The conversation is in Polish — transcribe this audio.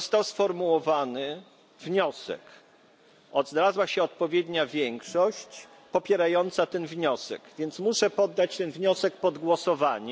Został sformułowany wniosek, znalazła się odpowiednia większość popierająca ten wniosek, więc muszę poddać ten wniosek pod głosowanie.